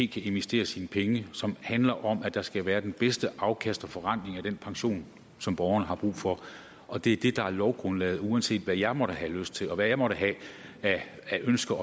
kan investere sine penge som handler om at der skal være det bedste afkast og forrentning af den pension som borgerne har brug for og det er det der er lovgrundlaget uanset hvad jeg måtte have lyst til og hvad jeg måtte have af ønsker